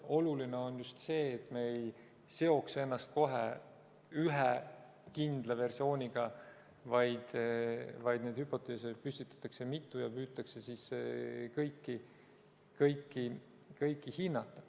Oluline on just see, et me ei seoks ennast kohe ühe kindla versiooniga, vaid neid hüpoteese püstitatakse mitu ja püütakse kõiki hinnata.